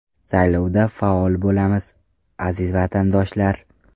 Saylovda faol bo‘lamiz, aziz vatandoshlar.